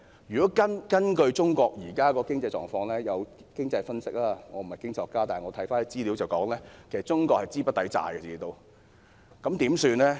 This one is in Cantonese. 如果根據中國現時的經濟狀況——我不是經濟學家，但看資料可得知——中國資不抵債。